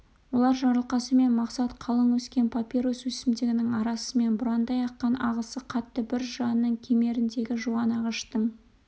олар жарылқасын мен мақсат қалың өскен папирус өсімдігінің арасымен бұраңдай аққан ағысы қатты бір жыраның кемеріндегі жуан ағаштың